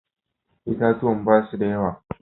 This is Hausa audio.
Itatuwan ba su da yawa.